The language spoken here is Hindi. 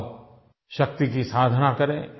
आओ शक्ति की साधना करें